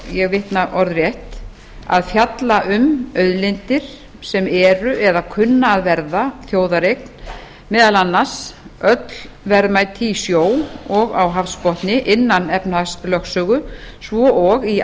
ég vitna orðrétt að fjalla um auðlindir sem eru eða kunna að verða þjóðareign meðal annars öll verðmæti í sjó og á hafsbotni innan efnahagslögsögu svo og í